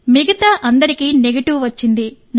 మిగతా అందరూ నెగెటివ్గా ఉన్నారు